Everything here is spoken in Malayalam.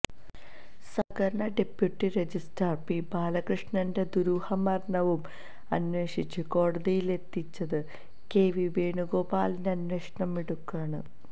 സഹകരണ ഡെപ്യൂട്ടി രജിസ്ട്രാര് പി ബാലകൃഷ്ണന്റെ ദുരൂഹമരണവും അന്വേഷിച്ച് കോടതിയിലെത്തിച്ചത് കെ വി വേണുഗോപാലിന്റെ അന്വേഷണ മിടുക്കാണ്